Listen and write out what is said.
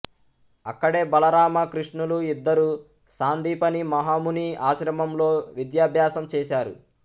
అక్కడే బలరామ కృష్ణులు ఇద్దరూ సాందీపని మహాముని ఆశ్రమంలో విద్యాభ్యాసం చేశారు